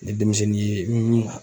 Ni denmisɛnnin ye